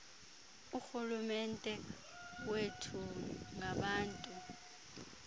urhulumente wethu ngabantu